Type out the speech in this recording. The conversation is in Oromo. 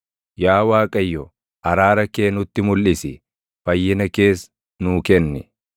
Yaa Waaqayyo, araara kee nutti mulʼisi; fayyina kees nuu kenni.